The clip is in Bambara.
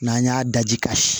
N'an y'a daji ka si